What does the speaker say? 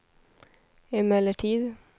emellertid